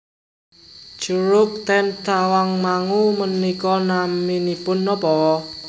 Curug ten Tawangmangu menika naminipun nopo?